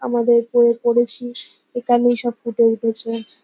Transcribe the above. আমাদের যে পড়েছিস। এখানেই সব ফুটে উঠেছে।